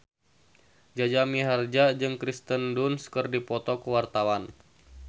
Jaja Mihardja jeung Kirsten Dunst keur dipoto ku wartawan